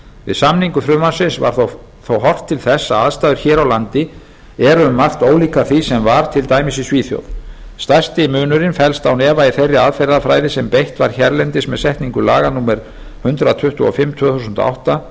við samningu frumvarpsins var þó horft til þess að aðstæður hér á landi eru um margt ólíkar því sem var til dæmis í svíþjóð stærsti munurinn felst án efa í þeirri aðferðafræði sem beitt var hérlendis með setningu laga númer hundrað tuttugu og fimm tvö þúsund og átta